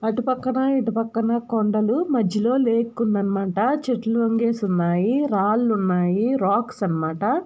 అటుపక్కన ఇటుపక్కన కొండలు. మజ్జలో లేక్ ఉందన్నమాట. చెట్లు రంగేసున్నాయి. రాళ్లున్నాయి. రాక్స్ అన్నమాట.